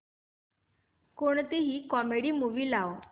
कोणतीही comedy movie लाव